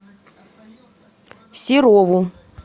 серову